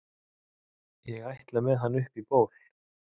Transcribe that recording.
ég ætla með hann upp í ból